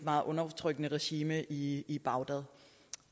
meget undertrykkende regime i i bagdad